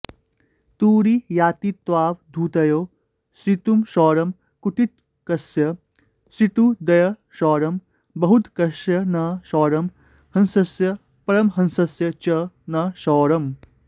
तुरीयातीतावधूतयोः ऋतुक्षौरं कुटीचकस्य ऋतुद्वयक्षौरं बहूदकस्य न क्षौरं हंसस्य परमहंसस्य च न क्षौरम्